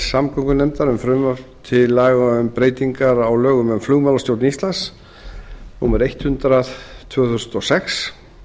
samgöngunefndar um frumvarp til laga um breytingar á lögum um flugmálastjórn íslands númer hundrað tvö þúsund og sex